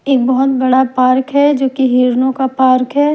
एक बहुत बड़ा पार्क है जो कि हिरणों का पार्क है।